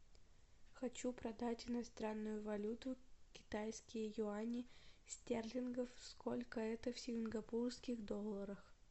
хочу продать иностранную валюту китайские юани стерлингов сколько это в сингапурских долларах